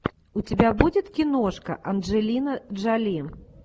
у тебя будет киношка анджелина джоли